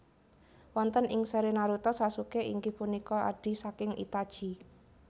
Wonten ing seri Naruto Sasuke inggih punika adhi saking Itachi